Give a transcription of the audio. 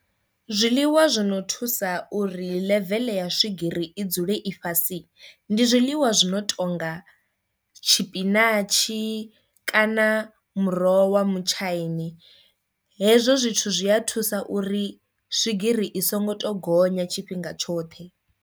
Zwiḽiwa zwino thusa uri ḽeveḽe ya swigiri i dzule i fhasi ndi zwiḽiwa zwi no tonga tshipinatshi kana muroho wa mutshaini, hezwo zwithu zwi a thusa uri swigiri i songo to gonya tshifhinga tshoṱhe.